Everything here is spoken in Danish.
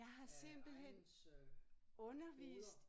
Jeg har simpelthen undervist